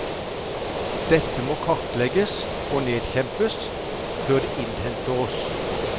Dette må kartlegges, og nedkjempes, før det innhenter oss.